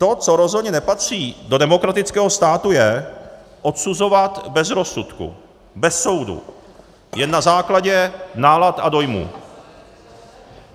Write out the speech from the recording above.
To, co rozhodně nepatří do demokratického státu, je odsuzovat bez rozsudku, bez soudu, jen na základě nálad a dojmů.